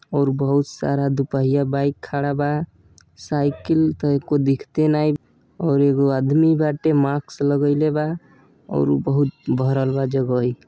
और बहुत सारा दुपहिया बाइक खड़ा बा साइकिल त एक्को दिखते नाही और एगो आदमी बाटे मास्क लगईले बा और ऊ बहुत भरल बा जगह।